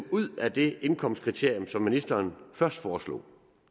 ud af det indkomstkriterium som ministeren først foreslog